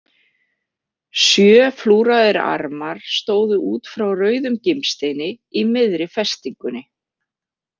Sjö flúraðir armar stóðu út frá rauðum gimsteini í miðri festingunni.